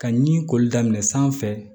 Ka ɲi koli daminɛ sanfɛ